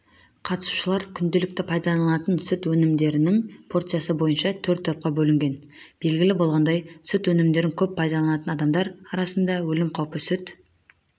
қатысушылар күнделікті пайдалантын сүт өнімдерінің порциясы бойынша төрт топқа бөлінген белгілі болғандай сүт өнімдерін көп пайдаланатын адамдар арасында өлім қаупі сүт